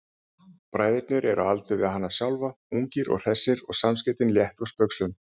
Bræðurnir eru á aldur við hana sjálfa, ungir og hressir og samskiptin létt og spaugsöm.